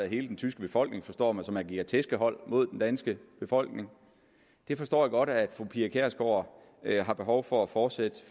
hele den tyske befolkning forstår man som agerer tæskehold mod den danske befolkning det forstår jeg godt at fru pia kjærsgaard har behov for at fortsætte